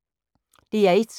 DR1